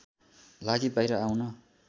लागि बाहिर आउन